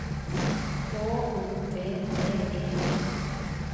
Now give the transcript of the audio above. H O V D E N